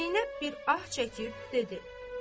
Zeynəb bir ah çəkib dedi: